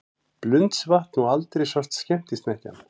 Blundsvatn og aldrei sást skemmtisnekkjan.